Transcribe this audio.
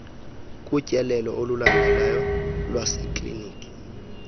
kutyelelo olulandelayo lwasekliniki